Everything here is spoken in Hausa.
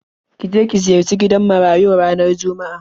Ki je ki ziyarci gidan marayun ranar Juma'a.